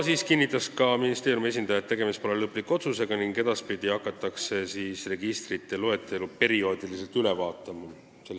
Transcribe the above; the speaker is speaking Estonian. Ministeeriumi esindaja kinnitas, et tegemist pole lõpliku otsusega ning edaspidi hakatakse nende registrite loetelu perioodiliselt üle vaatama.